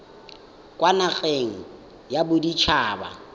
kwa nageng ya bodit haba